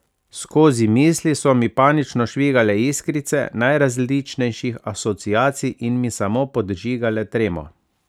Skozi misli so mi panično švigale iskrice najrazličnejših asociacij in mi samo podžigale tremo.